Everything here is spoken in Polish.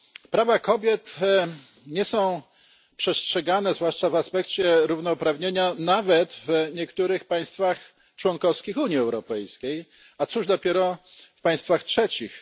Prawa kobiet nie są przestrzegane zwłaszcza w aspekcie równouprawnienia nawet w niektórych państwach członkowskich Unii Europejskiej, a cóż dopiero w państwach trzecich.